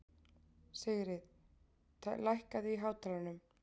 Sigrid, lækkaðu í hátalaranum.